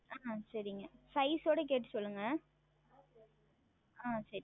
ஆஹ் சரிங்கள் Size உடன் கேட்டு சொல்லுங்கள் ஆஹ் சரிங்கள்